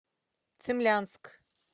цимлянск